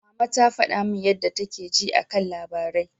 Mama ta faɗa min yadda take ji a kan labarai.